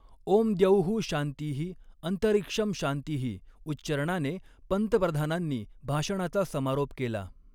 ओम्द्यौःशान्तिः, अन्तरिक्षंशान्तिः उच्चरणाने पंतप्रधानांनी भाषणाचा समारोप केला.